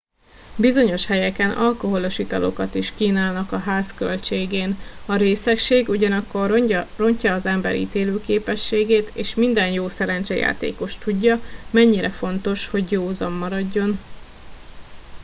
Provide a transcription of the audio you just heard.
bizonyos helyeken alkoholos italokat is kínálnak a ház költségén a részegség ugyanakkor rontja az ember ítélőképességet és minden jó szerencsejátékos tudja mennyire fontos hogy józan maradjon